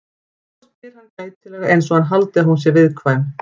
Svo spyr hann gætilega einsog hann haldi að hún sé viðkvæm.